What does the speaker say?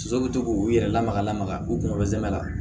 Soso bɛ to k'u yɛrɛ lamaga lamaga u kunkolo zɛmɛ la